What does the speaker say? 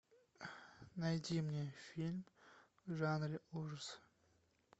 найди мне фильм в жанре ужасы